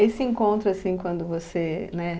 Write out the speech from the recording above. Esse encontro, assim, quando você, né?